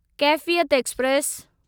Kaifiyat express